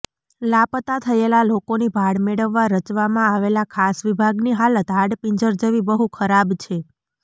લાપતા થયેલાં લોકોની ભાળ મેળવવા રચવામાં આવેલા ખાસ વિભાગની હાલત હાડપિંજર જેવી બહુ ખરાબ છે